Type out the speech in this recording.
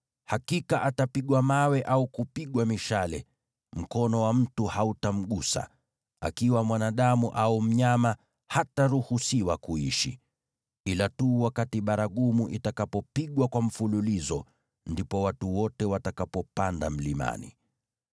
Hakika atapigwa mawe au kupigwa mishale; mkono wa mtu hautamgusa. Akiwa mwanadamu au mnyama, hataruhusiwa kuishi.’ Ila tu wakati baragumu itakapopigwa kwa mfululizo, ndipo watu wote watakapopanda mlimani.”